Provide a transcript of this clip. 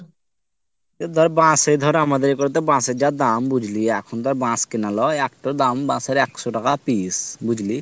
এই ধর বাঁশে ধর আমাদের এদিকে বাঁশের যা দাম বুঝলি এখন তো আর বাঁশ কেনা নয় একটু দাম বাঁশের একশ টাকা পিস্ বুঝলি